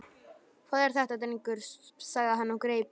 Hvað er þetta drengur? sagði hann og greip